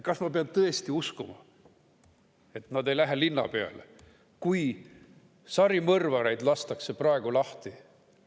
Kas ma pean tõesti uskuma, et nad ei lähe linna peale, kui sarimõrvareid lastakse praegu lahti?